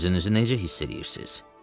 Özünüzü necə hiss eləyirsiz?